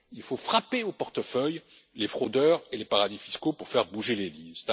Il faut frapper au portefeuille les fraudeurs et les paradis fiscaux pour faire bouger les lignes.